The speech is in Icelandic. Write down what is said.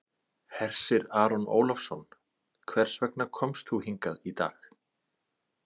Hersir Aron Ólafsson: Hvers vegna komst þú hingað í dag?